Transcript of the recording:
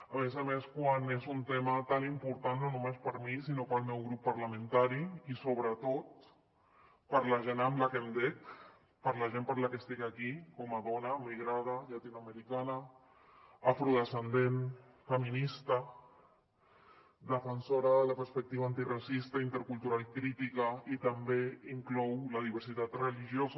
a més a més quan és un tema tan important no només per mi sinó per al meu grup parlamentari i sobretot per la gent a qui em dec per la gent per qui estic aquí com a dona migrada llatinoamericana afrodescendent feminista defensora de la perspectiva antiracista i intercultural crítica i també inclou la diversitat religiosa